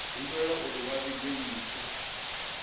humbelwa uri vha vhige mpfu